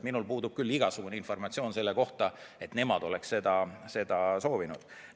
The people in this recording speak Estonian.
Minul puudub küll igasugune informatsioon selle kohta, et nemad oleksid seda soovinud.